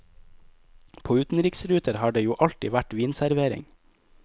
På utenriksruter har det jo alltid vært vinservering.